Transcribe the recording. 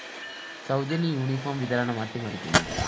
സൗജന്യ യൂണിഫോർമ്‌ വിതരണം അട്ടിമറിക്കുന്നു